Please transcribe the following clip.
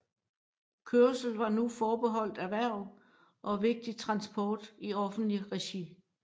Kørsel var nu forbeholdt erhverv og vigtig transport i offentligt regi